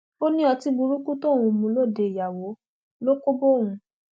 ó ní ọtí burúkú tóun mu lóde ìyàwó ló kó bá òun